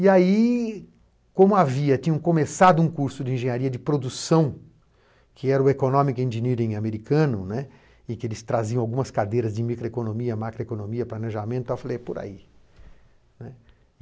E aí, como havia começado um curso de engenharia de produção, que era o Economic Engineering americano, né, e que eles traziam algumas cadeiras de microeconomia, macroeconomia, planejamento, eu falei, é por aí, né.